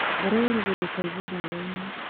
Ngoro ya irigũ ndĩkaigwe riũainĩ.